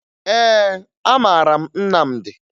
Ee, amara m Nnamdi